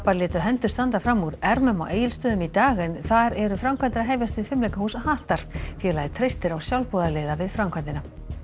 létu hendur standa fram úr ermum á Egilsstöðum í dag en þar eru framkvæmdir að hefjast við hattar félagið treystir á sjálfboðaliða við framkvæmdina